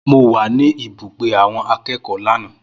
Mo wà ní ibùgbé àwọn akẹ́kọ̀ọ́ lánàá